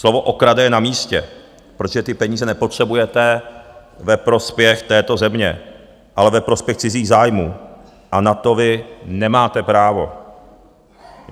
Slovo okrade je na místě, protože ty peníze nepotřebujete ve prospěch této země, ale ve prospěch cizích zájmů, a na to vy nemáte právo!